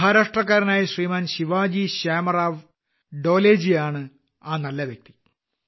മഹാരാഷ്ട്രക്കാരനായ ശിവാജി ശാമറാവ് ഡോലെയാണ് ആ നല്ല വ്യക്തി